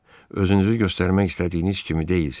Özünüzü göstərmək istədiyiniz kimi deyilsiz.